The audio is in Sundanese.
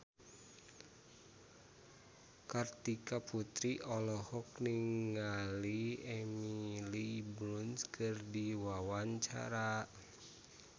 Kartika Putri olohok ningali Emily Blunt keur diwawancara